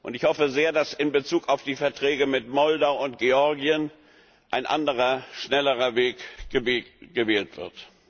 Ich hoffe sehr, dass in Bezug auf die Verträge mit Moldau und Georgien ein anderer, schnellerer Weg gewählt wird.